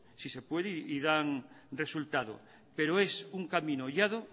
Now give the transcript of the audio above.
si se puede y dar resultado pero es un camino